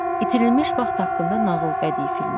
İtirilmiş vaxt haqqında nağıl bədii filmi.